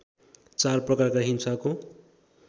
चार प्रकारका हिंसाको